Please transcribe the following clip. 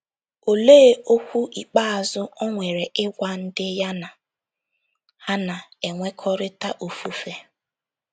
Olee okwu ikpeazụ o nwere ịgwa ndị ya na ha na - enwekọrịta ofufe?